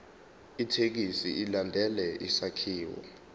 ithekisthi ilandele isakhiwo